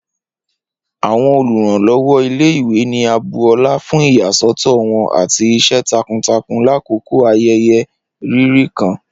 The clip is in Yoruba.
Awọn oluranlọwọ ile-iwe ni a bu ọla fun iyasọtọ wọn ati iṣẹ takuntakun lakoko ayẹyẹ riri kan